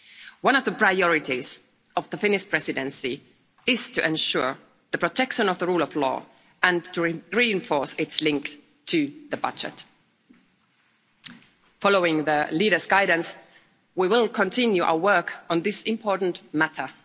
One of the priorities of the Finnish Presidency is to ensure protection of the rule of law and to reinforce its links to the budget. Following the leaders' guidance, we will continue our work on this important matter.